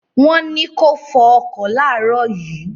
Wọ́n ní kó fọ ọkọ̀ láàrọ̀ yìí